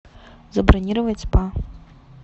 забронировать спа